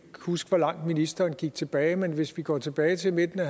huske hvor langt ministeren gik tilbage men hvis vi går tilbage til midten af